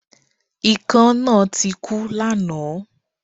Ikán náà tik ú lánáàn